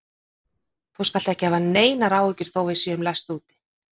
Þú skalt ekki hafa neinar áhyggjur þó að við séum læst úti.